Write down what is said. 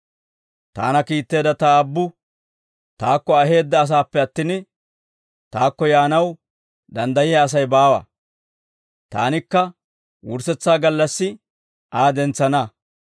Taana kiitteedda ta Aabbu taakko aheedda asaappe attin, taakko yaanaw danddayiyaa Asay baawa; taanikka wurssetsaa gallassi Aa dentsana.